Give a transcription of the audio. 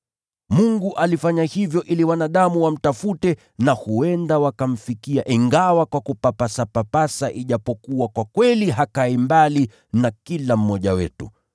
Mungu alifanya hivyo ili wanadamu wamtafute na huenda wakamfikia ingawa kwa kupapasapapasa ijapokuwa kwa kweli hakai mbali na kila mmoja wetu.